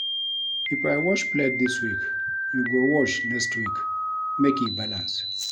If I wash plate dis week, you go wash next week make e balance.